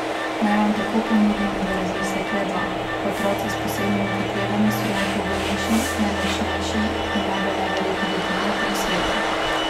Naj vam tako ponudimo v razmislek le dva: "Otroci s posebnimi potrebami so najpogumnejši, najmočnejši in najbolj neverjetni ljudje na tem svetu.